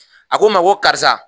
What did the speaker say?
A ko n ma ko karisa